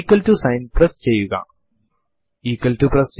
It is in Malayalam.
ഇത് ഔട്ട്പുട്ട് ചെയ്യുന്നത് ഇപ്പോൾ ഉപയോഗിച്ചുകൊണ്ടിരിക്കുന്ന ഷെൽ നെയാണ്